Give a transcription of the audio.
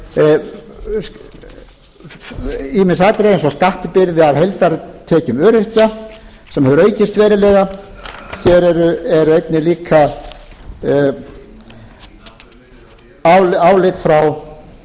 og ég hef hér rakið ýmis atriði eins og skattbyrði af heildartekjum öryrkja sem hefur aukist verulega hér er einnig líka álit frá félagi framhaldsskólakennara eins og ég nefndi áðan frú forseti